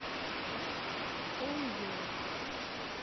ойо